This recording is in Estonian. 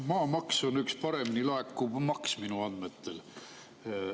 Maamaks on üks kõige paremini laekuv maks minu andmetel.